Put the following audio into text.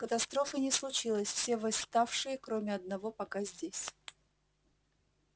катастрофы не случилось все восставшие кроме одного пока здесь